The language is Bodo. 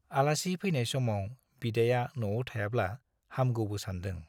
आलासि फैनाय समाव बिदाया न'आव थायाब्ला हामगौबो सानदों।